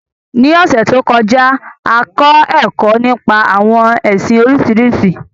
Ní ọ̀sẹ̀ to kọjá, a kọ ẹkọ nípa àwọn ẹsìn Oríṣiríṣi.